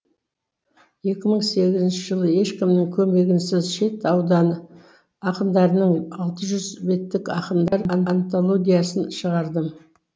екі мың сегізінші жылы ешкімнің көмегінсіз шет ауданы ақындарының алты жүз беттік ақындар антологиясын шығардым